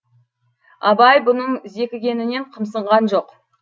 абай бұның зекігенінен қымсынған жоқ